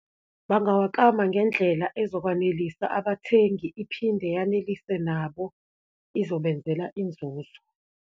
Bangawaklama ngendlela ezokwanelisa abathengi, iphinde yanelisiwe nabo, izobenzela inzuzo.